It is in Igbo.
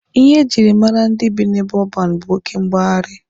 Ihe ejiri mara ndị bi n'ebe ọban bụ oke mgbagharị.